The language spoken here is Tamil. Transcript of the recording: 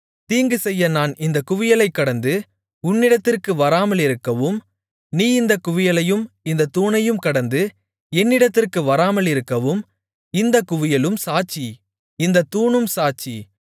தீங்குசெய்ய நான் இந்தக் குவியலைக் கடந்து உன்னிடத்திற்கு வராமலிருக்கவும் நீ இந்தக் குவியலையும் இந்தத் தூணையும் கடந்து என்னிடத்திற்கு வராமலிருக்கவும் இந்தக் குவியலும் சாட்சி இந்தத் தூணும் சாட்சி